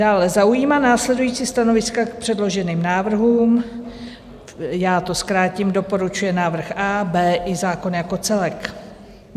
dále zaujímá následující stanoviska k předloženým návrhům" - já to zkrátím, doporučuje návrh A, B i zákon jako celek;